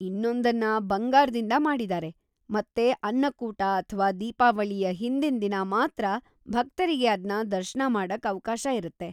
ಇನ್ನೊಂದನ್ನ ಬಂಗಾರ್ದಿಂದ ಮಾಡಿದಾರೆ ಮತ್ತೆ ಅನ್ನಕೂಟ ಅಥ್ವಾ ದೀಪಾವಳಿಯ ಹಿಂದಿನ್‌ ದಿನ ಮಾತ್ರ ಭಕ್ತರಿಗೆ ಅದ್ನ ದರ್ಶನ ಮಾಡಕ್‌ ಅವ್ಕಾಶ ಇರತ್ತೆ.